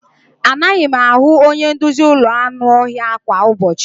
Anaghị m ahụ onye nduzi ụlọ anụ ọhịa kwa ụbọchị.